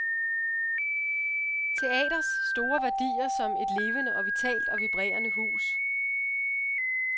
Teaters store værdier som et levende og vitalt og vibrerende hus.